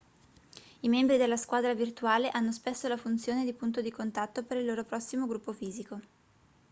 i membri della squadra virtuale hanno spesso la funzione di punto di contatto per il loro prossimo gruppo fisico